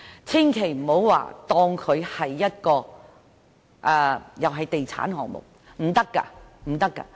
千萬不要當它作地產項目，一定不可以。